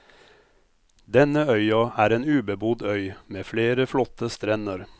Denne øya er en ubebodd øy, med flere flotte strender.